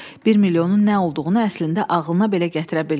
Bir milyonun nə olduğunu əslində ağlına belə gətirə bilmir.